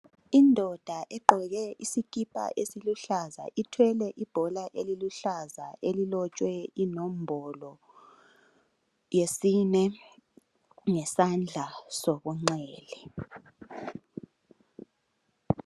Indoda eqoke isikipha esiluhlaza ithwele ibhola eliluhlaza elilotshwe inombolo yesine, ngesandla sokungxele.